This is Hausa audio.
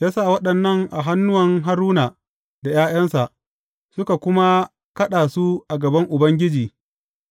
Ya sa waɗannan a hannuwan Haruna da ’ya’yansa, suka kuma kaɗa su a gaban Ubangiji